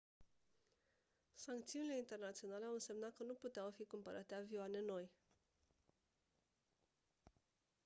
sancțiunile internaționale au însemnat că nu puteau fi cumpărate avioane noi